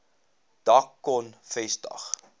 dak kon vestig